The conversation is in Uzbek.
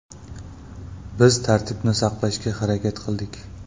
Biz tartibni saqlashga harakat qildik.